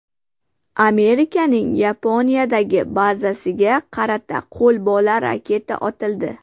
Amerikaning Yaponiyadagi bazasiga qarata qo‘lbola raketa otildi.